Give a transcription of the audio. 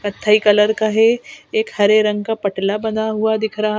कत्थई कलर का है एक हरे रंग का पटला बना हुआ दिख रहा--